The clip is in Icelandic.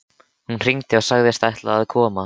Hún hringdi og sagðist ætla að koma.